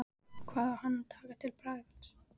Hvað á hann að taka til bragðs?